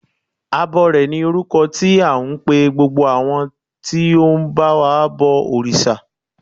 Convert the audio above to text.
Abọrẹ̀ ni orúkọ tí à ń pe gbogbo àwọn tí ó ń ba wa bọ òrìṣà.